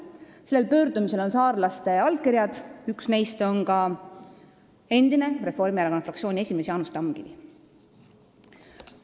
Sellel pöördumisel on saarlaste allkirjad, üks neist on ka endine Reformierakonna fraktsiooni esimees Jaanus Tamkivi.